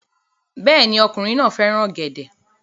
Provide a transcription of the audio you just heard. Bẹ́ẹ̀ ni, ọkùnrin náà fẹ́ràn ọ̀gẹ̀dẹ̀